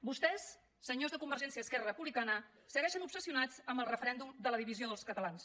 vostès senyors de convergència i esquerra republicana segueixen obsessionats amb el referèndum de la divisió dels catalans